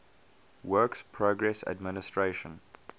works progress administration